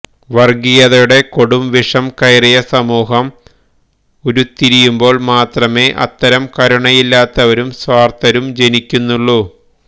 വർഗീയതയുടെ കൊടും വിഷം കയറിയ സമൂഹം ഉരുത്തിരിയുമ്പോൾ മാത്രമേ അത്തരം കരുണയില്ലാത്തവരും സ്വാർഥരും ജനിക്കുന്നുള്ളൂ